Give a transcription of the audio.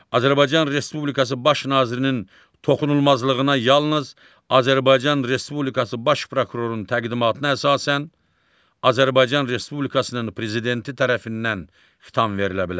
Azərbaycan Respublikası Baş Nazirinin toxunulmazlığına yalnız Azərbaycan Respublikası Baş Prokurorunun təqdimatına əsasən Azərbaycan Respublikasının Prezidenti tərəfindən xitam verilə bilər.